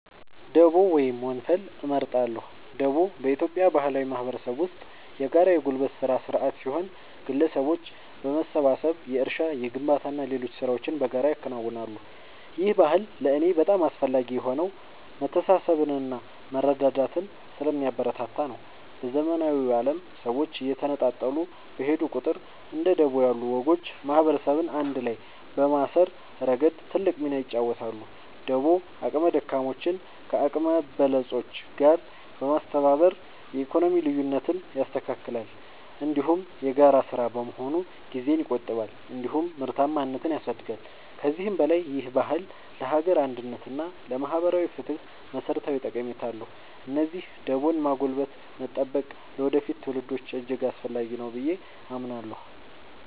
ደቦ ወይም ወንፈል እመርጣለሁ። ደቦ በኢትዮጵያ ባህላዊ ማህበረሰብ ውስጥ የጋራ የጉልበት ሥራ ሥርዓት ሲሆን፣ ግለሰቦች በመሰባሰብ የእርሻ፣ የግንባታና ሌሎች ሥራዎችን በጋራ ያከናውናሉ። ይህ ባህል ለእኔ በጣም አስፈላጊ የሆነው መተሳሰብንና መረዳዳትን ስለሚያበረታታ ነው። በዘመናዊው ዓለም ሰዎች እየተነጣጠሉ በሄዱ ቁጥር፣ እንደ ደቦ ያሉ ወጎች ማህበረሰብን አንድ ላይ በማሰር ረገድ ትልቅ ሚና ይጫወታሉ። ደቦ አቅመ ደካሞችን ከአቅመ በለጾች ጋር በማስተባበር የኢኮኖሚ ልዩነትን ያስተካክላል፤ እንዲሁም የጋራ ሥራ በመሆኑ ጊዜን ይቆጥባል እንዲሁም ምርታማነትን ያሳድጋል። ከዚህም በላይ ይህ ባህል ለሀገር አንድነት እና ለማህበራዊ ፍትህ መሠረታዊ ጠቀሜታ አለው። ስለዚህ ደቦን ማጎልበትና መጠበቅ ለወደፊት ትውልዶች እጅግ አስፈላጊ ነው ብዬ አምናለሁ።